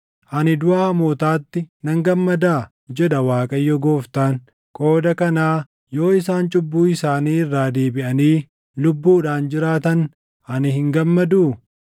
Ani duʼa hamootaatti nan gammadaa? jedha Waaqayyo Gooftaan. Qooda kanaa yoo isaan cubbuu isaanii irraa deebiʼanii lubbuudhaan jiraatan ani hin gammaduu?